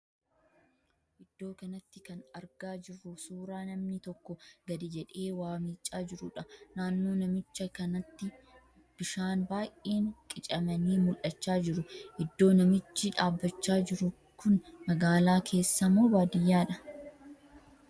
Iddoo kanatti kan argaa jirru suuraa namni tokko gadi jedhee waa miicaa jiruudha. Naannoo namicha kanaatti bishaan baay'een qicamanii mul'achaa jiru. Iddoo namichi dhaabbachaa jiru kun magaalaa keessa moo baadiyyaadha?